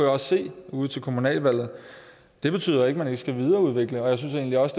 også se ude til kommunalvalget det betyder ikke at man ikke skal videreudvikle og jeg synes egentlig også